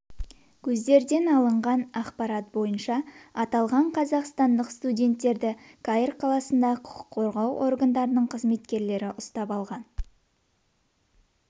көздерден алынған ақпарат бойынша аталған қазақстандық студенттерді қаир қаласында құқық қорғау органдарының қызметкерлері ұстап алған